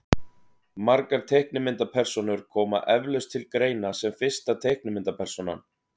margar teiknimyndapersónur koma eflaust til greina sem fyrsta teiknimyndapersónan